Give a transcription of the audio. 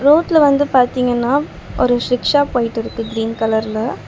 ரோட்ல வந்து பாத்தீங்கன்னா ஒரு சிக்ஷா போயிட்டிருக்கு கிரீன் கலர்ல .